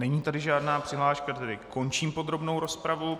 Není tady žádná přihláška, tedy končím podrobnou rozpravu.